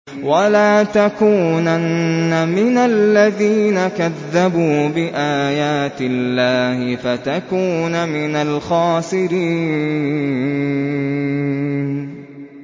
وَلَا تَكُونَنَّ مِنَ الَّذِينَ كَذَّبُوا بِآيَاتِ اللَّهِ فَتَكُونَ مِنَ الْخَاسِرِينَ